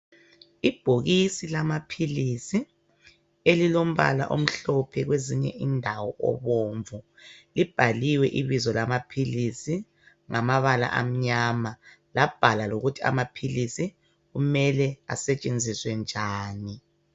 Ibhokisi lamaphilisi elilombala omhlophe kwezinye indawo obomvu libhaliwe ibizo lamaphilisi ngamabala amnyama labhalwa lokuthi amaphilisi kumele asetshenziswe njani.